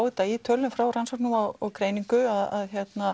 þetta í tölum frá Rannsóknum og greiningu að